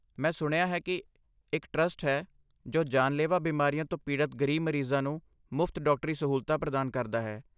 ਮੈਂ ਸੁਣਿਆ ਹੈ ਕਿ ਇੱਕ ਟਰਸਟ ਹੈ ਜੋ ਜਾਨਲੇਵਾ ਬਿਮਾਰੀਆਂ ਤੋਂ ਪੀੜਤ ਗਰੀਬ ਮਰੀਜ਼ਾਂ ਨੂੰ ਮੁਫਤ ਡਾਕਟਰੀ ਸਹੂਲਤਾਂ ਪ੍ਰਦਾਨ ਕਰਦਾ ਹੈ।